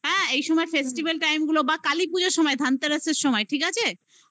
না রে ভাই আমার কথাটা শোন না তুই যদি এই যে time গুলো বললাম না fifteenth august